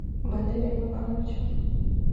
валерием ивановичем